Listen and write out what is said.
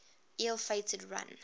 ill fated run